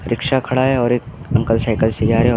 rickshaw खड़ा है और एक अंकल साइकल से जा रहे है और --